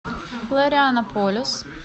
флорианополис